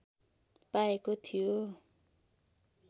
पाएको थियो